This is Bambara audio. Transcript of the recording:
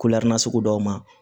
na sugu dɔw ma